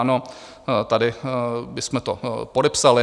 Ano, tady bychom to podepsali.